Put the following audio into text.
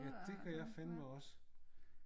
Ja det gør jeg fandeme også